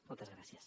moltes gràcies